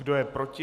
Kdo je proti?